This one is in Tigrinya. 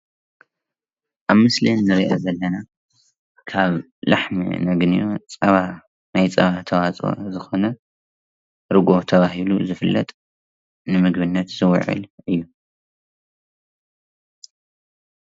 ኣብ ምስሊ እንሪኣ ዘለና ካብ ላሕሚ ነግንዮ ፀባ ናይ ፀባ ተዋፅኦ ዝኮነ ርግኦ እናተባህለ ዝፍለጥ ንምግብነት ዝውዕል እዩ።